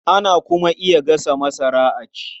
Ana kuma iya gasa masara a ci.